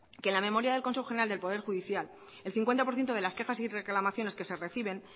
que en la memoria del consejo general del poder judicial el cincuenta por ciento de las quejas y reclamaciones que se reciben